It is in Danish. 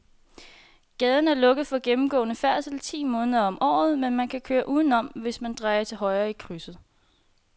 Gaden er lukket for gennemgående færdsel ti måneder om året, men man kan køre udenom, hvis man drejer til højre i krydset.